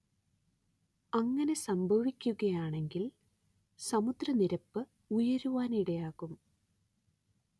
അങ്ങനെ സംഭവിക്കുകയാണെങ്കിൽ സമുദ്രനിരപ്പുയരാനിടയാകും